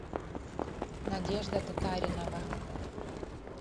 надежда татаринова